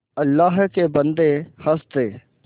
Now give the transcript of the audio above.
अल्लाह के बन्दे हंस दे